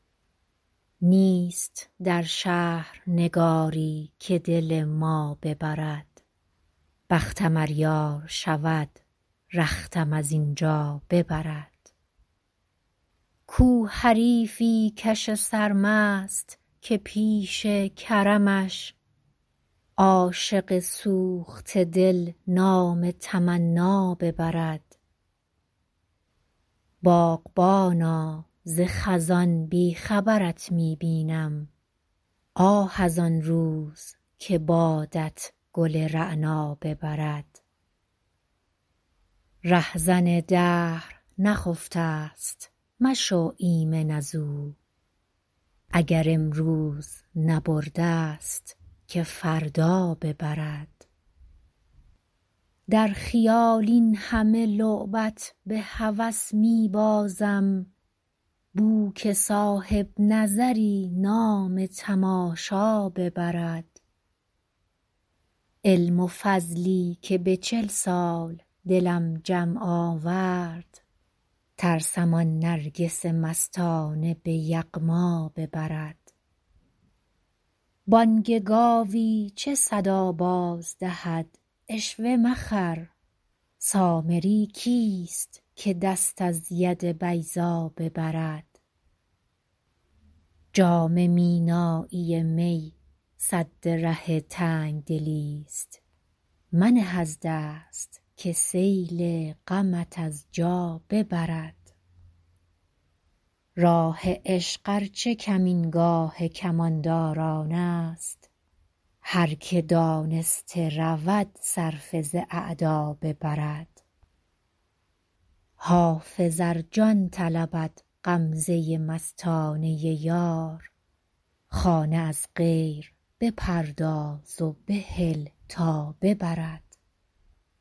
نیست در شهر نگاری که دل ما ببرد بختم ار یار شود رختم از این جا ببرد کو حریفی کش سرمست که پیش کرمش عاشق سوخته دل نام تمنا ببرد باغبانا ز خزان بی خبرت می بینم آه از آن روز که بادت گل رعنا ببرد رهزن دهر نخفته ست مشو ایمن از او اگر امروز نبرده ست که فردا ببرد در خیال این همه لعبت به هوس می بازم بو که صاحب نظری نام تماشا ببرد علم و فضلی که به چل سال دلم جمع آورد ترسم آن نرگس مستانه به یغما ببرد بانگ گاوی چه صدا باز دهد عشوه مخر سامری کیست که دست از ید بیضا ببرد جام مینایی می سد ره تنگ دلی ست منه از دست که سیل غمت از جا ببرد راه عشق ار چه کمینگاه کمانداران است هر که دانسته رود صرفه ز اعدا ببرد حافظ ار جان طلبد غمزه مستانه یار خانه از غیر بپرداز و بهل تا ببرد